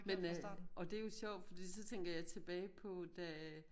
Men øh og det jo sjovt fordi så tænker jeg tilbage på da